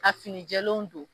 Ka fini jɛlenw don